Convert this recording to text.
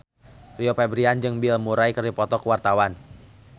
Rio Febrian jeung Bill Murray keur dipoto ku wartawan